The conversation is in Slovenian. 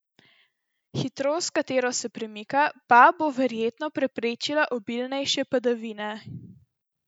Hitrost, s katero se premika, pa bo verjetno preprečila obilnejše padavine.